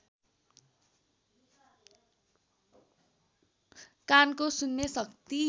कानको सुन्ने शक्ति